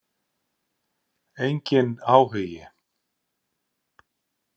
Enginn áhugi.